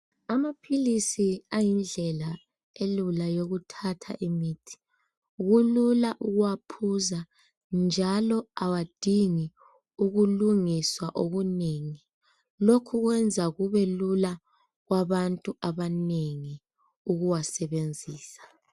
Amaphilisi ayindlela elula yokuthatha imithi. Kulula ukuwaphuza njalo awadingi ukulungiswa okunengi. Lokhu kwenza kubelula kwabantu abanengi ukuwasebenzisa.